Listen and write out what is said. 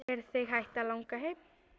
Er þig hætt að langa heim?